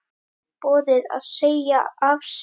Boðið að segja af sér?